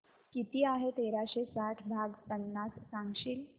किती आहे तेराशे साठ भाग पन्नास सांगशील